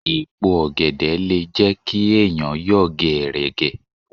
Èèpo ọ̀gẹ̀dẹ̀ le jẹ́ kí ẹ̀yàn yọ̀ gẹ̀ẹ̀rẹ̀gẹ̀.